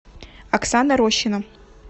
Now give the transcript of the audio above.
оксана рощина